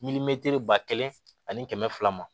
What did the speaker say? ba kelen ani kɛmɛ fila ma